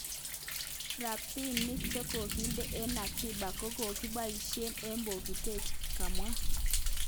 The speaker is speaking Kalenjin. Rapinik chekokinde en akiba ko kakipaishen en pokitet. kamwa.